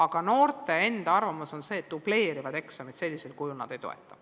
Aga noorte enda arvamus on see, et dubleerivaid eksameid nad ei toeta.